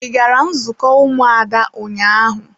Ị gara nzukọ ụmụada ụnyaahụ?